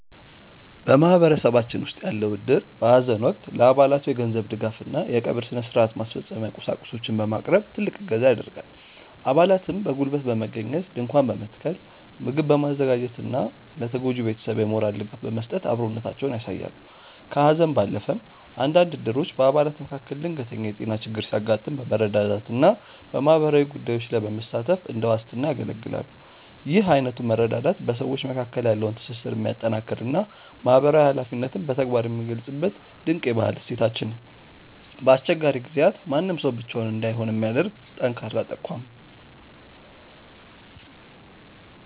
በማህበረሰባችን ውስጥ ያለው እድር በሐዘን ወቅት ለአባላቱ የገንዘብ ድጋፍና የቀብር ሥነ-ሥርዓት ማስፈጸሚያ ቁሳቁሶችን በማቅረብ ትልቅ እገዛ ያደርጋል። አባላትም በጉልበት በመገኘት ድንኳን በመትከል፣ ምግብ በማዘጋጀትና ለተጎጂው ቤተሰብ የሞራል ድጋፍ በመስጠት አብሮነታቸውን ያሳያሉ። ከሐዘን ባለፈም፣ አንዳንድ እድሮች በአባላት መካከል ድንገተኛ የጤና ችግር ሲያጋጥም በመረዳዳትና በማህበራዊ ጉዳዮች ላይ በመሳተፍ እንደ ዋስትና ያገለግላሉ። ይህ አይነቱ መረዳዳት በሰዎች መካከል ያለውን ትስስር የሚያጠናክርና ማህበራዊ ኃላፊነትን በተግባር የሚገልጽበት ድንቅ የባህል እሴታችን ነው። በአስቸጋሪ ጊዜያት ማንም ሰው ብቻውን እንዳይሆን የሚያደርግ ጠንካራ ተቋም ነው።